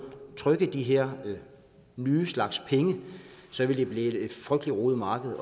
trykke de her nye slags penge så ville det blive et frygtelig rodet marked